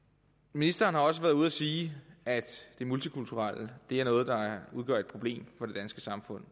ministeren har også været ude at sige at det multikulturelle er noget der udgør et problem for det danske samfund